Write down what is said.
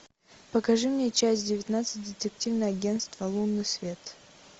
покажи мне часть девятнадцать детективное агентство лунный свет